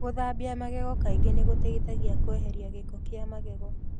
Gũthambia magego kaingĩ nĩ gũteithagia kweheria gĩko kĩa magego.